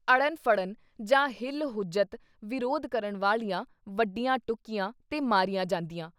ਅੜਨ-ਫੜਨ ਜਾਂ ਹੀਲ-ਹੁੱਜਤ ਵਿਰੋਧ ਕਰਨ ਵਾਲੀਆਂ ਵੱਢੀਆਂ ਟੁਕੀਆਂ, ਤੇ ਮਾਰੀਆਂ ਜਾਂਦੀਆਂ।